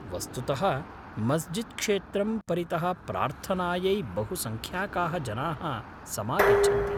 वस्तुतः मस्जिद् क्षेत्रं परितः प्रार्थनायै बहुसङ्ख्याकाः जनाः समागच्छन्ति।